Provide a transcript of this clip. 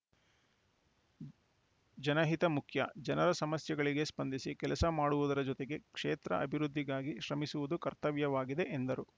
ಜನಹಿತ ಮುಖ್ಯ ಜನರ ಸಮಸ್ಯೆಗಳಿಗೆ ಸ್ಪಂದಿಸಿ ಕೆಲಸ ಮಾಡುವುದರ ಜೊತೆಗೆ ಕ್ಷೇತ್ರ ಅಭಿವೃದ್ಧಿಗಾಗಿ ಶ್ರಮಿಸುವುದು ಕರ್ತವ್ಯವಾಗಿದೆ ಎಂದರು